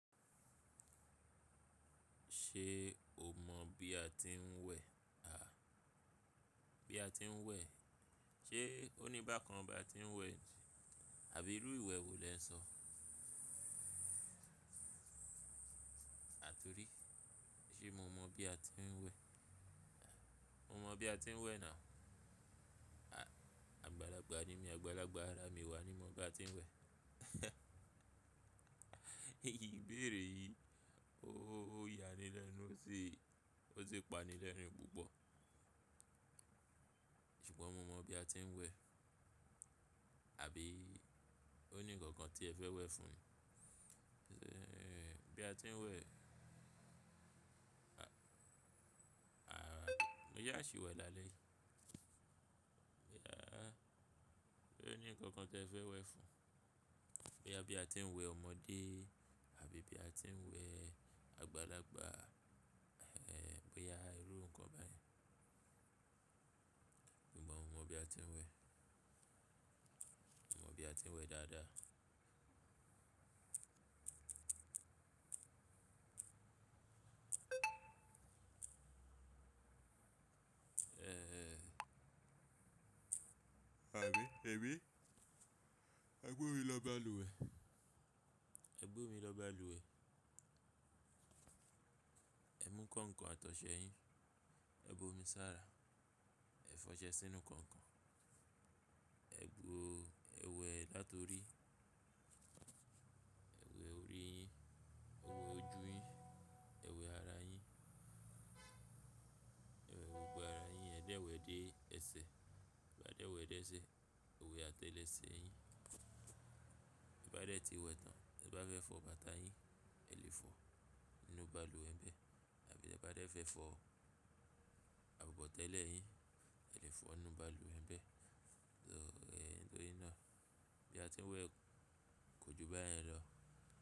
Ṣé o mọ̀ bí a ti ń wẹ̀? À, bí a ti ń wẹ̀. Ṣé ó ní bákan bá ti ń wẹ̀, àbí irú ìwẹ̀ wo lè ń sọ? Àtorí, ṣé mo mọ̀ bí a ti ń wẹ̀? Mo mọ̀ bí a ti ń wẹ̀ náà. Àgbàlagbà ni mí, àgbàlagbà ara mi wà ni mo bá ti ń wẹ̀. Ìbéèrè yìí ó ya ni lẹ́nu, ó sì pa ni lẹ́nu púpọ̀. Ṣùgbọ́n mo mọ̀ bí a ti ń wẹ̀. Àbí ó ní ǹkan kan tí ẹ fẹ́ wẹ̀ fún mi? Ṣé bí a ti ń wẹ̀? A, mo yá a sì wẹ̀ lálẹ́ yìí. Ṣé ó ní ǹkan kan tí ẹ fẹ́ wẹ̀ fún mi? Pé bí a ti ń wẹ̀ ọmọdé, àbí bí a ti ń wẹ̀ àgbàlagbà, è, bóyá irú nǹkan báyìí. Mo mọ̀ bí a ti ń wẹ̀. Mo mọ̀ bí a ti ń wẹ̀ dáadáa. Àbí, ẹbí. Ẹ bu omi lọ́ba lúùwẹ́. Ẹ bu omi lọ́ba lúùwẹ́. Ẹ mú nǹkan kan àtọ̀sẹ yín, ẹ bu omi sára, ẹ fọṣẹ sínú nǹkan kan. Ẹ wẹ̀ láti orí, ẹ wẹ̀ orí yín, ẹ wẹ̀ ojú yín, ẹ wẹ̀ ara yín, ẹ wẹ̀ gbogbo ara yín. Ẹ dẹ̀ wẹ̀ dé ẹsẹ̀. Ẹ bá dẹ̀ wẹ̀ dé ẹsẹ̀, ẹ wẹ̀ àtẹ́ lèṣe yín. Ẹ bá dẹ̀ ti wẹ̀ tán, tí ẹ bá fẹ́ fọ bàtà yín, ẹ lè fọ nínú bàlùwẹ̀ bẹ́ẹ̀. Àbí tí ẹ bá dẹ̀ fẹ́ fọ abọ̀tẹ́lẹ̀ yín, ẹ lè fọ nínú bàlùwẹ̀ bẹ́ẹ̀. Ẹ̀ lọ́rí náà, bí a ti ń wẹ̀ kò ju bẹ́ẹ̀ yẹn lọ.